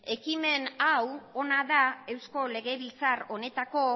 ekimen hau ona da eusko legebiltzar honetako